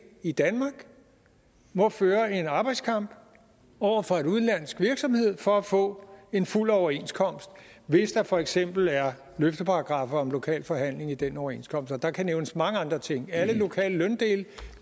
i danmark må føre en arbejdskamp over for en udenlandsk virksomhed for at få en fuld overenskomst hvis der for eksempel er løfteparagraffer om lokal forhandling i den overenskomst der kan nævnes mange andre ting alle lokale løndele